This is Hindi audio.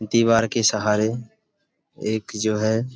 दीवार के सहारे एक जो है --